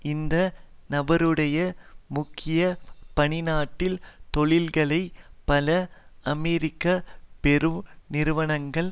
இந்த நபருடைய முக்கிய பணி நாட்டில் தொழில்களைப் பல அமெரிக்க பெரு நிறுவனங்கள்